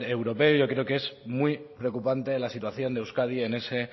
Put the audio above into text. europeo yo creo que es muy preocupante la situación de euskadi en ese